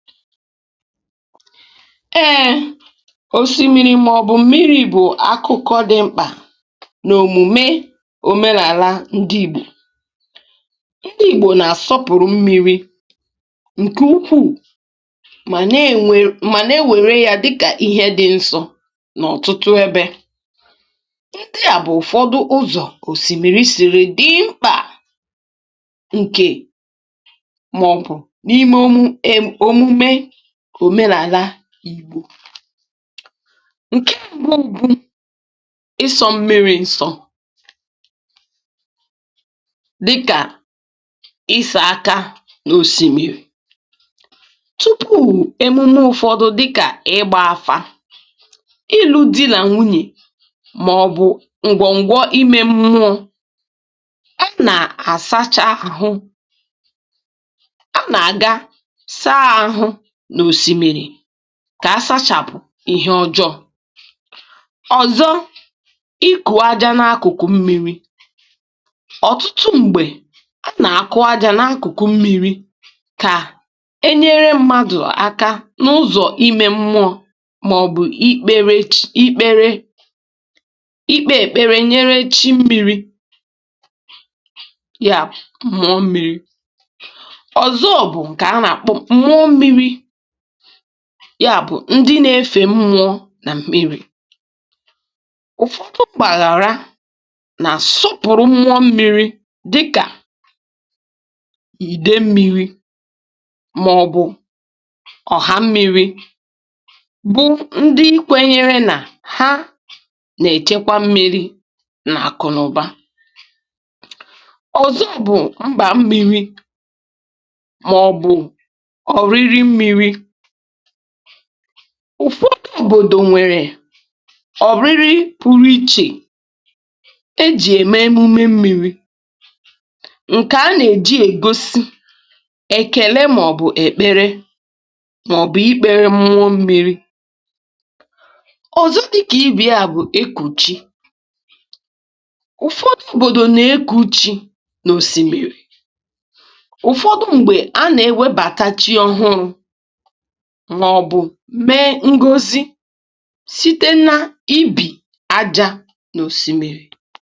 Ee, osimiri ma ọ bụ mmiri bụ ihe dị oke mkpa n’omenala ndị Igbo. Ndị Igbo na-enye mmiri nnukwu nsọpụrụ, ma na-ele ya dịka ihe dị nsọ n’ọtụtụ ebe. Otu ụzọ mmiri si egosi mkpa ya n’ime ndụ ndị Igbo bụ n’omume ịsacha ahụ nke ime mmụọ. Nke a gụnyere ịsacha aka n’osimiri tupu mmadụ ṅụọ mmanya, um iji mmiri mee amụma, iji ya n’omume alụmdi na nwunye, ma ọ bụ iji ya sachapụ ihe ọjọọ. Ndị mmadụ na-asacha ahụ ha n’ime mmiri iji wepụ ihe ọjọọ ma ọ bụ ihe na-akpatakarị ihe ọjọọ. Omume ọzọ bụ onyinye aja na mmiri. Ọtụtụ mgbe, a na-enye aja n’ime mmiri ka ọ nyere mmadụ aka n’ihe metụtara ime mmụọ, ma ọ bụ mgbe a na-ekpe ekpere nye chi mmiri, nke a na-akpọkwa mmụọ mmiri. Ụfọdụ ndị na-enye onwe ha kpamkpam n’ịsọpụrụ mmụọ mmiri. Ha kwenyere na mmiri na-echebe ha ma na-enye ha akụ na ọganihu. N’ime ụfọdụ obodo, e nwere emume pụrụ iche a na-eme n’akụkụ mmiri. Nke a gụnyere emume oriri ebe ndị mmadụ na-ezukọ n’akụkụ osimiri ma ọ bụ n’akụkụ oke osimiri iji kele, iji kpe ekpere, ma ọ bụ iji nye chi mmiri ihe àjà. Omume ọzọ bụ emume mmiri. Ụfọdụ obodo na-eme nke a dịka emume pụrụ iche iji gosi nsọpụrụ na ekele ha na-enye mmiri. N’ime ụfọdụ ebe, e nwekwara emume ebe a na-anabata ndị ọhụrụ site n’ịdu ha gaa n’osimiri maka ihe nnọchianya. Ihe ndị a nwere ike ịgụnye ịṅụcha mmanya, ma ọ bụ inye ihe àjà n’ime mmiri.